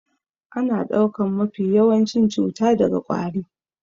Ana ɗaukan mafi yawancin cuta daga ƙwari